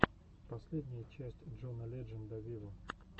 последняя часть джона ледженда виво